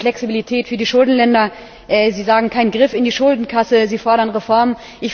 Sie fordern Flexibilität für die Schuldenländer, Sie sagen Kein Griff in die Schuldenkasse, Sie fordern Reformen.